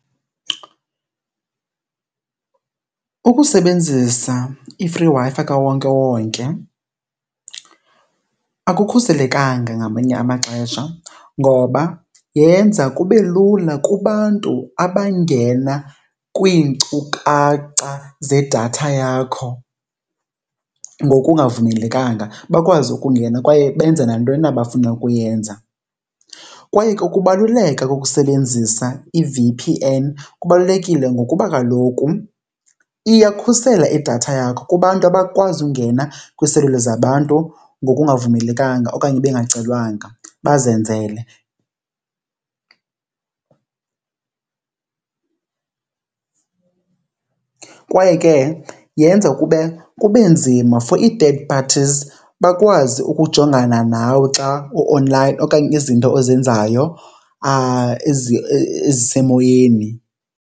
Ukusebenzisa i-free Wi-Fi kawonkewonke akukhuselekanga ngamanye amaxesha, ngoba yenza kube lula kubantu abangena kwiinkcukacha zedatha yakho ngokungavumelekanga bakwazi ukungena kwaye benze nantoni na abafuna ukuyenza. Kwaye ke ukubaluleka kokusebenzisa i-V_P_N kubalulekile ngokuba kaloku iyakhusela idatha yakho kubantu abakwazi ungena kwiiselula zabantu ngokungavumelekanga okanye bengacelwanga, bazenzele. Kwaye ke yenza kube, kube nzima for i-third parties bakwazi ukujongana nawe xa u-online okanye izinto ozenzayo ezisemoyeni.